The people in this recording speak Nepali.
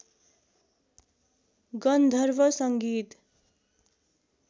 गन्धर्व सङ्गीत